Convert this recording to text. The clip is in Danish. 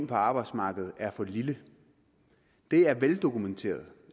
på arbejdsmarkedet er for lille det er veldokumenteret